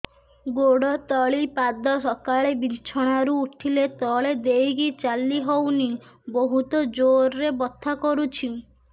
ଗୋଡ ତଳି ପାଦ ସକାଳେ ବିଛଣା ରୁ ଉଠିଲେ ତଳେ ଦେଇକି ଚାଲିହଉନି ବହୁତ ଜୋର ରେ ବଥା କରୁଛି